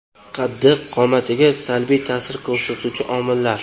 Qaddi-qomatga salbiy ta’sir ko‘rsatuvchi omillar.